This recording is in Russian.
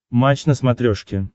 матч на смотрешке